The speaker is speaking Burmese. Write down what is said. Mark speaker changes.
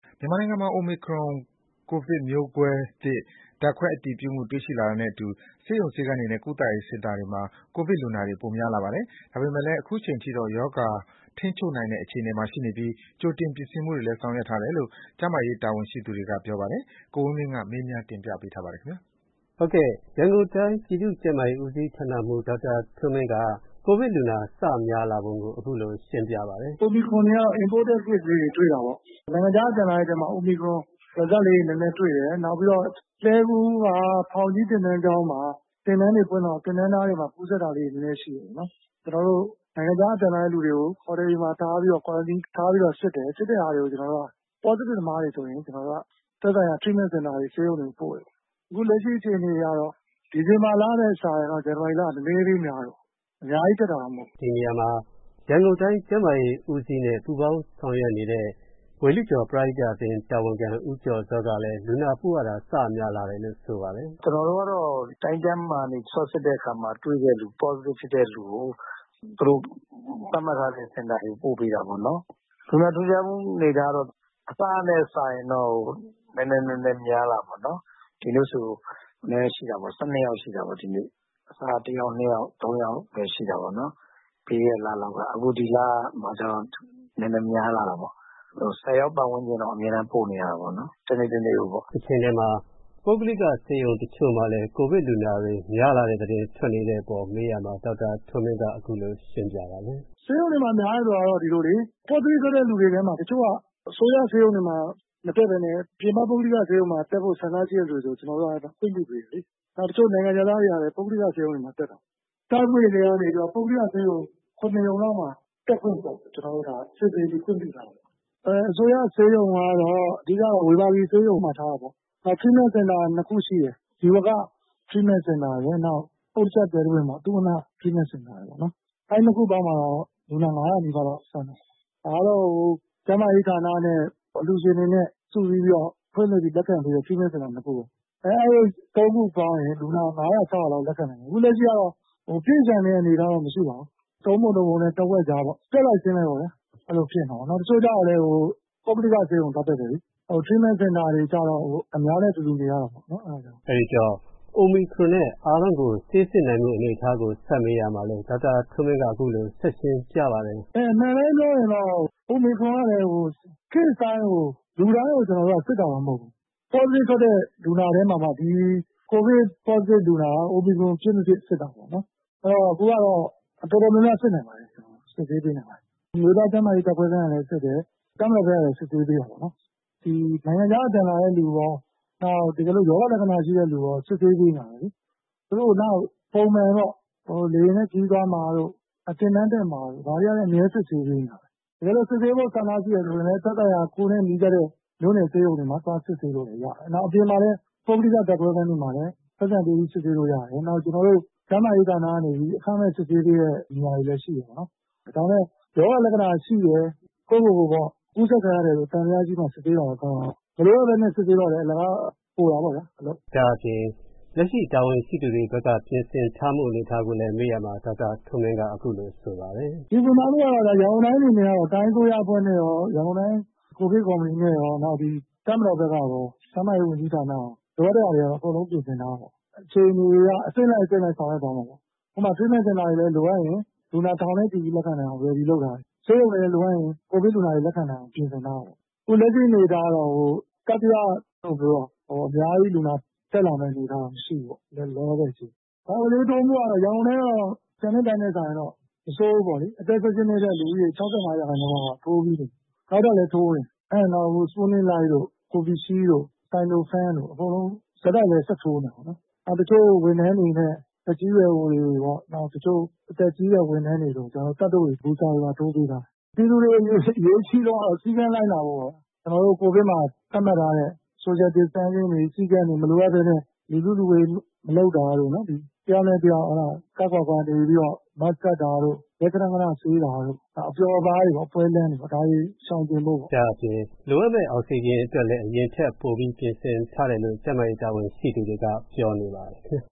Speaker 1: မြန်မာနိုင်ငံမှာ Omicron ကိုဗစ်မျိုးကွဲသစ် ဓါတ်ခွဲအတည်ပြုတွေ့ရှိလာတာနဲ့အတူ၊ ဆေးရုံဆေးခန်းတွေနဲ့ ကုသရေးစင်တာတွေမှာ ကိုဗစ်လူနာတွေ ပိုများလာပါတယ်။ ဒါပေမယ့်လည်း အခုအချိန်ထိတော့ ရောဂါထိန်းချုပ်နိုင်တဲ့အခြေအနေမှာ ရှိနေပြီး၊ ကြိုတင်ပြင်ဆင်မှုတွေလည်း ဆောင်ရွက်ထားတယ်လို့ ကျန်းမာရေးတာဝန်ရှိသူတွေကပြောပါတယ်။ ကိုဝင်းမင်းစုံစမ်းမေးမြန်းထားပါတယ်။ ရန်ကုန်တိုင်း ပြည်သူကျန်းမာရေးဦးစီးဌာနမှုး ဒေါက်တာထွန်းမင်းက ကိုဗစ်လူနာတွေ စပြီးမျာ
Speaker 2: းလာတာကို အခုလိုရှင်းပြပါတယ်။ “Omicron တွေက imported case လေးတွေ တွေ့တာပေါ့။ နိုင်ငံခြားက ပြန်လာသူတွေထဲမှာ Omicron result နည်းနည်းတွေ့တယ်။ လှည်းကူးက ဖောင်ကြီးသင်တန်းကြောင်းမှာ သင်တန်းဖွင့်တွေဖွင့်တော့ သင်တန်းသားတွေမှာ ကူးစပ်တာလေးတွေ နည်းနည်းရှိတယ်ပေါ့နော်။ ကျနော်တို့နိုင်ငံခြားက ပြန်လာတဲ့သူတွေကိုတော့ ဟော်တယ်ဆီမှာထားပြီးတော့ Quarantine ထားပြီးတော့ စစ်တယ်။ positive သမားတွေဆိုရင် ကျနော်တို့က သက်ဆိုင်ရာ Treatment စင်တာတွေ၊ ဆေးရုံတွေကို ပို့တယ်။ အခုလက်ရှိအခြေအနေအရတော့ ဒီဇင်ဘာလနဲ့စာရင်တော့ ဇန်နဝါရီလဟာ နည်းနည်းလေးများတယ်။ အများကြီးဖြစ်တာတော့ မဟုတ်ဘူး။” ဒီနေရာမှာ
Speaker 1: ရန်ကုန်တိုင်းကျန်းမာရေးဦးစီးနဲ့ပူးပေါင်းဆောင်ရွက်နေတဲ့ ဝေဠုကျော်ပရဟိတအသင်းတာဝန်ခံ ဦးကျော်ဇောကလည်း လူနာပို့ရတာ စများလာတယ်လို့ဆိုပါတယ်။ “ကျနော်တို့ကတော့ တိုင်းကျန်းမာရေးကနေ Swab စစ်တဲ့အခါမှာ positive ဖြစ်တဲ့သူတွေကို သူတို့သပ်မှတ်ထားတဲ့ စင်တာတွေကို ပို့ပေးတာပေါ့နော်။ လူနာထူးခြားမှုအနေအထားကတော့ အစကနဲ့စာရင် နည်းနည်းများလာတယ်ပေါ့နော်။ ဒီနေ့ဆို ၁၂ ရောက်ရှိတာပေါ့။ အစက တယောက်၊ နှစ်ယောက်၊ သုံးယောက်ပဲရှိတာပေါ့နော်။ ပြီးခဲ့တဲ့လလောက်ကပေါ့။ အခုဒီလမှာကျတော့ နည်းနည်းများလာတာပေါ့။ တနေ့တနေ့ကို ၁၀ ယောက်ပတ်ဝန်းကျင်တော့ အမြဲတမ်းပို့နေရတယ်ပေါ့။” တချိန်ထဲမှာ ပုဂ္ဂလိကဆေးရုံတချို့မှာလည်း ကိုဗစ်လူနာတွေများလာနေတဲ့အပေါ် မေးမြန်းရာမှာ ဒေါက်တာထွန်းမင်းက အခုလိုရှင်းပြပါတယ်။
Speaker 2: “ ဆေးရုံတွေမှာ ကိုဗစ်များလာတယ်ဆိုတာက ဒီလိုလေ။ positive ထွက်တဲ့လူတွေထဲမှာ တချို့က အစိုးရဆေးရုံတွေဆီမှာ မတက်ပဲနဲ့ပြင်ပ ပုဂ္ဂလိကဆေးရုံတွေဆီမှာ တက်ဖို့ဆန္ဒရှိတဲ့သူတွေဆိုရင် ကျနော်တို့က ခွင့်ပြုပေးတယ်လေ။ တချို့နိုင်ငံခြားသားတွေကလည်း ပုဂ္ဂလိက ဆေးရုံတွေဆီမှာတက်တယ်။ စတွေ့ထဲကိုက ကျနော်တို့က ပုဂ္ဂလိက ဆေးရုံ ရုံလောက်မှာ ကျနော်တို့က စစ်ဆေးပြီး တက်ဖို့ခွင့်ပြုထားတယ်။ အစိုးရဆေးရုံကတော့ ကျနော်တို့က အဓိက ဝေဘာဂီဆေးရုံမှာထားတာပေါ့။ နောက်ပြီး Treatment Center နှစ်ခုရှိတယ်။ ဇီဝက Treatment Center ရယ်၊ နောက်ပြီး အုတ်တချပ်သဲတပွင့်ပေါ့ သုဝဏ္ဏ Treatment Center ရယ်ပေါ့။ အဲဒီနှစ်ခုပေါင်း လူနာ ၅၀၀ နီးပါးလောက် ဆန့်တယ်။ ဒါကတော့ ကျန်းမာရေးဌာနနဲ့အလှူရှင်တွေနဲ့စုပေါင်း ဖွင့်လှစ်ပြီး လက်ခံတဲ့ Treatment Center တွေပေါ့နော်။ အခုလက်ရှိကတော့ ပြည့်လျှံနေတဲ့ အနေအထားတော့ မရှိပါဘူး။ လူနာ သုံးပုံတပုံနဲ့တဝက်အကြားပေါ့။ တက်လိုက်ဆင်းလိုက်ပေါ့။ တချို့ကျတော့လည်း ပုဂ္ဂလိကဆေးရုံသွားတက်တယ်လေ။ Treatment Center တွေကျတော့် အများနဲ့တူတူနေရတယ်လေ။” Omicron
Speaker 1: အတွက် အများကို ဆေးစစ်နိုင်တဲ့အနေအထားကို ဆက်ပြီးမေးမြန်းရာမှာတော့ ဒေါက်တာထွန်းမင်းက အခုလို ဆက်ရှင်းပြပါတယ်
Speaker 2: ။ “ အမှန်အတိုင်းပြောရရင် အိုမီခရွန်က case တိုင်း၊ လူတိုင်းကို ကျနော်တို့က စစ်တာမဟုတ်ဘူး။ Positive ထွက်တဲ့လူနာတွေထဲမှာမှ အိုမီခရွန် ဖြစ်မဖြစ်စစ်တယ်ပေါ့နော်။ အဲဒီတော့ အခုက တော်တော်များများတော့ စစ်နိုင်ပါတယ်။ အမျိုးသားကျန်းမာရေး ဓာတ်ခွဲခန်းကလည်းစစ်တယ်၊ တပ်မတော်ဘက်ကနည်း စစ်ဆေးပေးတာပေါ့နော်။ နိုင်ငံခြားကပြန်လာတဲ့လူရော၊ ရောဂါလက္ခဏာပြတဲ့လူရော စစ်ဆေးပေးနေတာပဲလေ။ သူတို့ကိုနောက်ပိုင်း ပုံမှန်ပေါ့။ လေယာဉ်နဲ့ခရီးသွားမှာတို့၊ သင်တန်းတက်မှာတို့၊ ဒါတွေကလည်း အမြဲတမ်းစစ်ဆေးပေးနေတာပါပဲ။ တကယ်လို့စစ်ဆေးဖို့ဆန္ဒရှိတယ်ဆိုရင်လည်း သက်ဆိုင်ရာ ကိုယ်နဲ့နီးစပ်တဲ့ဆေးရုံတွေမှာ သွားပြီးစစ်ဆေးလို့လည်း ရပါတယ်။ အပြင်မှာလည်း ပုဂ္ဂလိကဓာတ်ခွဲခန်းတွေမှာလည်း ပိုက်ဆံပေးပြီး စစ်ဆေးလို့ရတယ်။ နောက်ပြီးတော့ ကျနော်တို့ကျန်းမာရေးဌာနကနေပြီး အခမဲ့ စစ်ဆေးပေးတဲ့ နေရာလည်းရှိတယ်ပေါ့နော်။ ဒါပေမယ့် ရောဂါလက္ခဏာရှိတယ်။ ကိုယ့်ကိုယ်ကိုယ် ကူးစက်ခံရတယ်လို့သံသယရှိမှ စစ်ဆေးတာပဲကောင်းပါတယ်။ မလိုအပ်ပဲ စစ်ဆေးတော့လည်း အလကား အလုပ်ပိုတာပေါ့ဗျာ
Speaker 1: ။” ဒါ့အပြင် လက်ရှိတာဝန်ရှိသူတွေဘက်ကလည်း ပြင်ဆင်ထားမှုအနေအထားကို မေးမြန်းရာ ဒေါက်တာထွန်းမင်းက အခုလိုဆိုပါတယ်။
Speaker 2: “ ရန်ကုန်တိုင်းအနေနဲ့ကတော့ တိုင်းအစိုးရအဖွဲ့နဲ့ရော၊ ကိုဗစ်ကော်မတီနဲ့ရော၊ တပ်မတော်ဘက်ကရော၊ ကျန်းမာရေးဝန်ကြီးဌာနရော၊ လိုအပ်တဲ့ဟာတွေတော့ အကုန်လုံးပြင်ဆင်ထားတယ်ပေါ့။ အခြေအနေအရ အဆင့်လိုက်အဆင့်လိုက်ဆောင်ရွက်သွားမယ်ပေါ့။ ဥပမာ Treatment Center တွေလည်လိုအပ်ရင် လူနာ ထောင်နဲ့ချီပြီးလက်ခံနိုင်အောင် Ready လုပ်ထားတယ်။ ဆေးရုံတွေလည်း လိုအပ်ရင် ကိုဗစ်လူနာတွေလက်ခံနိုင်အောင်ပြင်ဆင်ထားတယ်ပေါ့။ အခုလက်ရှိအနေအထားကတော့ လူနာတွေအများကြီးတက်လာမယ့် အနေအထားရှိတယ်။ ရန်ကုန်တိုင်းကတော့ ကျန်တဲ့တိုင်းတွေနဲ့စာရင်တော့ မဆိုးဘူးပေါ့လေ။ အသက် ၁၈ နှစ်အထက် လူဦးရေ ၆၅ ရာခိုင်နှုန်းလောက်က ကာကွယ်ဆေးထိုးပြီးနေပြီ။ နောက်ထပ်လည်းထိုးကြဦးမယ်။ Sputnik Light တို့၊ Covid Shield တို့၊ Sino Pharm တို့အကုန်လုံး ဆက်တိုက်ပဲ ဆက်ထိုးနေတယ်ပေါ့။ တချို့ဝန်ထမ်းတွေနဲ့သက်ကြီးရွယ်အိုတွေပေါ့။ တချို့အသက်ကြီးတဲ့ ဝန်ထမ်းတွေကို ကျနော်တို့ Booster ပါ ထိုးပေးထားတယ်။ ပြည်သူတွေ အရေးကြီးဆုံးကတော့ စည်းကမ်းလိုက်နာဖို့ပေါ့။ ကျနော်တို့ ကိုဗစ်မှာ သပ်မှတ်ထားတဲ့ social distancing တွေ၊ မလိုအပ်ပဲ လူစုလူဝေးမလုပ်တာတို့၊ တယောက်နဲ့တယောက် ခပ်ခွာခွာနေပြီးတော့ mask တပ်တာတို့၊ လက်ခဏခဏဆေးတာတို့၊ နောက် အပျော်အပါးပေါ့ ။ ပွဲလမ်းတွေရှောင်ကျင်ဖို့ပေါ့။” ဒါအပြင်
Speaker 1: လိုအပ်မယ့် အောက်ဆီဂျင်အတွက်ရော အရင်ထက်ပိုပြီးပြင်ဆင်ထားတယ်လို့ကျန်းမာရေးတာဝန်ရှိသူတွေက ပြောနေပါ
Speaker 2: တယ်